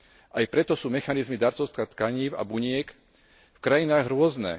Aj preto sú mechanizmy darcovstva tkanív a buniek v krajinách rôzne.